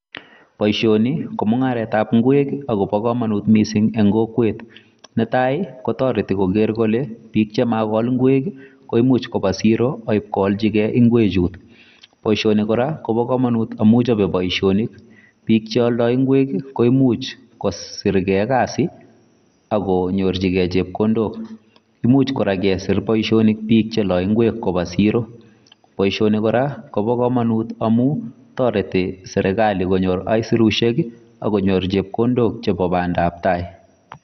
Boisoni ko mungaret ab Ngweek akobo kamanut missing en kokwet netai kotaretii koger kole biik chemakol ngweek ii koimuuch kobaa siroo ak ii koalchilgei ngweek chuut , boisoni kora kobaa kamanuut amuun chape boisonik biik chealdai ngweek koimuuch kosirgei kasiit ii ako nyorjigei chepkondook imuuch kora kesiir biik che lae ngweek kobaa siroo boisioni kora kobaa kamanuut amuun taretii serikali konyoor aisirusiek ak konyoor chepkondook chebo Banda ab tai.